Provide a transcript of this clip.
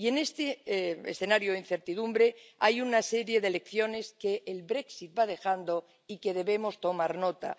Y, en este escenario de incertidumbre, hay una serie de lecciones que el Brexit va dejando y de las que debemos tomar nota.